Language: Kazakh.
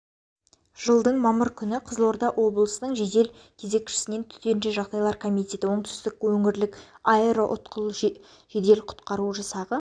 жылдың мамыр күні қызылорда облысының жедел кезекшісінен төтенше жағдайлар комитеті оңтүстік өңірлік аэроұтқыр жедел құтқару жасағы